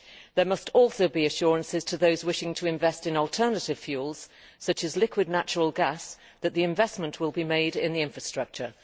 There must also be assurances to those wishing to invest in alternative fuels, such as liquid natural gas, that the investment will be made in the infrastructure.